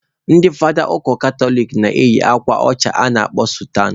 Ndị fada ụka katoliki na-eyi akwa ọcha a kpọrọ sutan